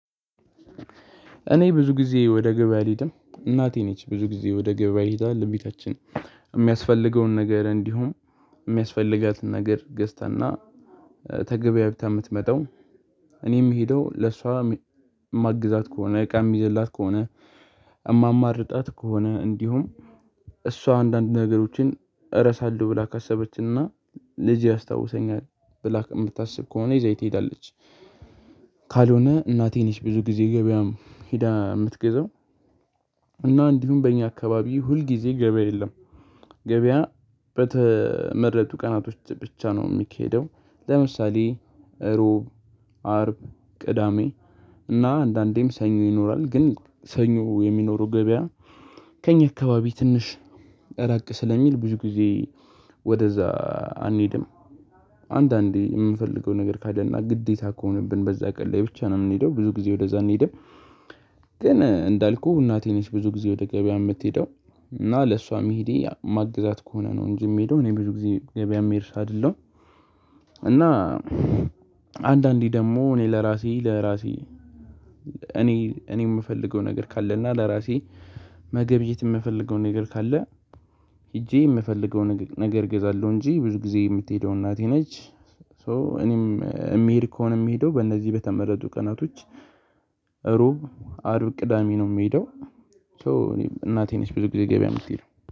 እኔ ብዙ ጊዜ ወደ ገበያ አልሄድም። እናቴ ነች ብዙ ጊዜ ወደ ገበያ ሄዳ ለቤታችን የሚያስፈልገውን ነገር እንዲሁም የሚያስፈልጋትን ነገር ገዝታና ተገበያብታ የምትመጣው እኔ ምሄደው ለሷ ማግዛት ከሆነ እቃ ምይዘላት ከሆነ እማማርጣት ከሆነ እንዲሁም እሷ አንዳንድ ነገሮችን እረሳለሁ ብላ ካሰበችና ለዚህ ያስታውሰኛል ብላ የምታስብ ከሆነ ይዛኝ ትሄዳለች። ካልሆነ እናቴ ነች ብዙ ጊዜ ገበያም ሂዳ የምትገዛው እና እንዲሁም በእኛ አካባቢ ሁል ጊዜ ገበያ የለም። ገበያ በተመረጡ ቀናቶች ብቻ ነው የሚኬደው ለምሳሌ ሮብ አርብ ቅዳሜ እና አንዳንዴም ሰኞ ይኖራል። ግን ሰኞ የሚኖረው ገበያ ከእኛ አካባቢ ትንሽ እራቅ ስለሚል ብዙ ጊዜ ወደዛ አንሄድም። አንዳንዴ የምፈልገው ነገር ካለና ግዴታ ከሆነብን በዛ ቀን ላይ ብቻ ነው የምንሄደው። ብዙ ጊዜ ወደዛ አንሄድም። ግን እንዳልኩህ እናቴ ነች ብዙ ጊዜ ወደ ገበያ የምትሄደው እና ለሷ መሄዴ ማግዛት ከሆነ ነው እንጂ የሚሄደው እኔ ብዙ ጊዜ ገበያ የሚሄድ ሰው አይደለውም። እና አንዳንዴ ደግሞ እኔ ለራሴ ለራሴ እኔ እኔ የምፈልገው ነገር ካለና ለራሴ መገብየት የምፈልገው ነገር ካለ ሄጄ የምፈልገው ነገር እገዛለሁ እንጂ ብዙ ጊዜ የምትሄደው እናቴ ነች። ሶ እኔም የምሄድ ከሆነ የምሄደው በእነዚህ በተመረጡ ቀናቶች ሮብ አርብ ቅዳሜ ነው የምሄደው። ሶ እኔ እናቴ ነች ብዙ ጊዜ ገበያ የምትሄደው